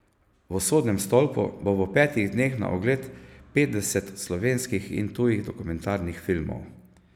V Sodnem stolpu bo v petih dneh na ogled petdeset slovenskih in tujih dokumentarnih filmov.